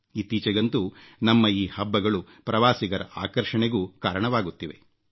ಇತ್ತೀಚೆಗಂತೂ ನಮ್ಮ ಈ ಹಬ್ಬಗಳು ಪ್ರವಾಸಿಗರ ಆಕರ್ಷಣೆಗೂ ಕಾರಣವಾಗುತ್ತಿವೆ